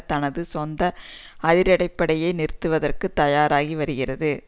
தனது சொந்த அதிரடிப்படையை நிறுத்துவதற்கு தயாராகி வருகிறது